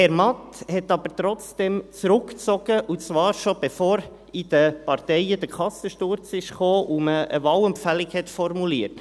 Herr Matt zog aber trotzdem zurück, und zwar schon bevor in den Parteien der Kassensturz kam und man eine Wahlempfehlung formulierte.